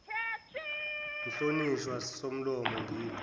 mhlonishwa somlomo ngimi